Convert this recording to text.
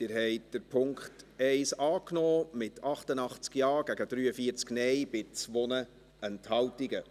Sie haben den Punkt 1 angenommen, mit 88 Ja- gegen 43 Nein-Stimmen bei 2 Enthaltungen.